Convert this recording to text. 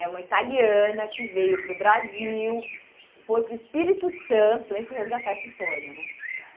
É uma italiana que veio para o Brasil, foi para o Espírito Santo, também fui resgatar essa história, né?